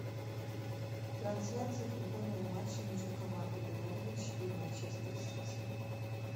трансляция футбольного матча между командами норвич и манчестер сити